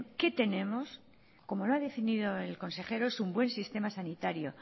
qué tenemos como lo ha definido el consejero es un buen sistema sanitario